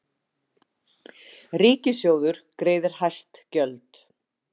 Ríkissjóður greiðir hæst gjöld